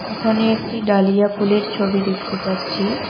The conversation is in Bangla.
এখানে একটি ডালিয়া ফুলের ছবি দেখতে পাচ্ছি।